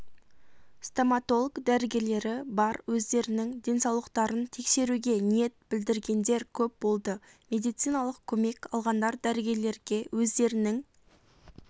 стомотолог дәрігерлері бар өздерінің денсаулықтарын тексеруге ниет білдіргендер көп болды медициналық көмек алғандар дәрігерлерге өздерінің